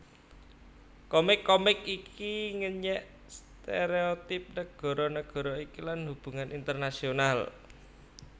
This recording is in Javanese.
Komik komik iki ngenyèk stéréotip nagara nagara iki lan hubungan internasional